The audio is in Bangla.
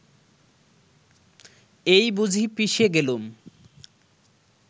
এই বুঝি পিষে গেলুম